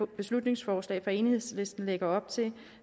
beslutningsforslag fra enhedslisten lægger op til